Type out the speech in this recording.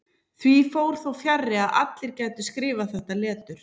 Því fór þó fjarri að allir gætu skrifað þetta letur.